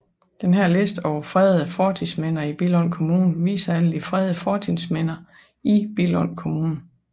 Denne liste over fredede fortidsminder i Billund Kommune viser alle fredede fortidsminder i Billund Kommune